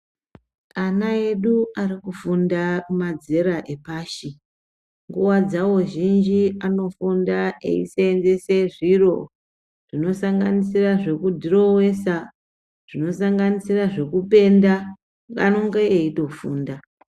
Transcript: Ana edu arikufunda madzera epashi, nguva dzavo zhinji anofunda achiseenzese zviro zvinosanganisira zvekudhirowesa zvinosanganisira zvekupenda anenge achitofunda.